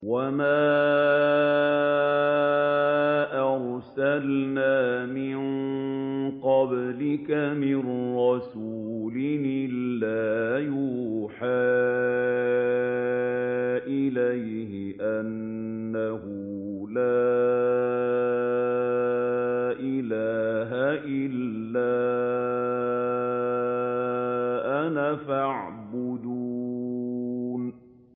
وَمَا أَرْسَلْنَا مِن قَبْلِكَ مِن رَّسُولٍ إِلَّا نُوحِي إِلَيْهِ أَنَّهُ لَا إِلَٰهَ إِلَّا أَنَا فَاعْبُدُونِ